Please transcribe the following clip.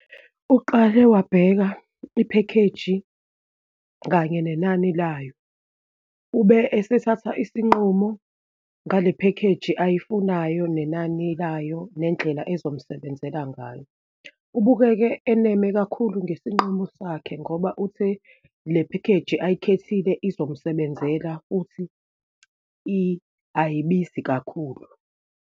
Uqale wabheka iphekheji, kanye nenani layo, ube esethatha isinqumo ngale phekheji ayifunayo, nenani layo, nendlela ezomsebenzela ngayo. Ubukeke enema kakhulu ngesinqumo sakhe ngoba uthi le phekheji ayikhethile, izomsebenzela futhi ayibizi kakhulu.